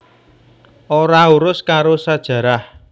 Ora urus karo sajarah